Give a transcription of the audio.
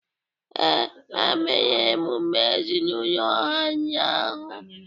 Ee, ha mere emume ezinaụlọ ha ụnyahụ.